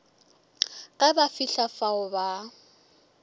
ge ba fihla fao ba